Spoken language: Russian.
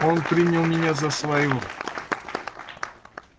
он принял меня за своего